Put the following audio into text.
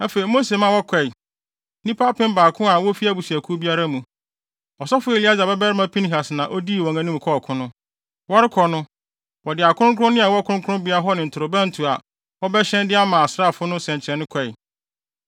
Afei Mose ma wɔkɔe, nnipa apem baako a wofi abusuakuw biara mu. Ɔsɔfo Eleasar babarima Pinehas na odii wɔn anim kɔɔ ɔko no. Wɔrekɔ no, wɔde akronkronne a ɛwɔ kronkronbea hɔ ne ntorobɛnto a wɔbɛhyɛn de ama asraafo no nsɛnkyerɛnne kɔe.